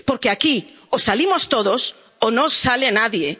recursos. Porque aquí o salimos todos o no